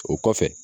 O kɔfɛ